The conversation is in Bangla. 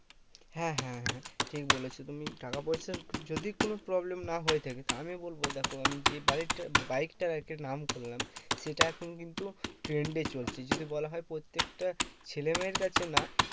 হ্যাঁ হ্যাঁ ঠিক বলেছো। তুমি টাকা পয়সার যদি কোনো problem না হয়ে থাকে তা আমি বলবো দেখো আমি যে budget টা বাইকটার একটা নাম করলাম, সেটা এখন কিন্তু trend এ চলছে। যদি বলা হয় প্রত্যেকটা ছেলেমেয়ের কাছে না